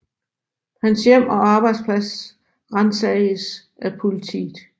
Hans hjem og arbejdsplads ransages af politiet